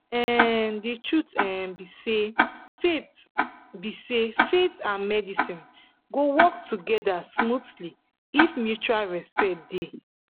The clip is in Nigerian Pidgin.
um the truth um be say faith be say faith and medicine go work together smoothly if mutual respect dey.